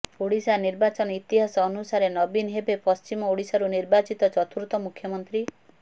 ଓଡ଼ିଶା ନିର୍ବାଚନ ଇତିହାସ ଅନୁସାରେ ନବୀନ ହେବେ ପଶ୍ଚିମ ଓଡ଼ିଶାରୁ ନିର୍ବାଚିତ ଚତୁର୍ଥ ମୁଖ୍ୟମନ୍ତ୍ରୀ